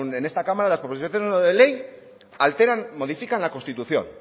en esta cámara las proposiciones no de ley alteran modifican la constitución